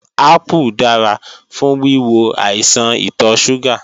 Ápù dára fún wíwo àìsàn ìtọ̀ ṣúgà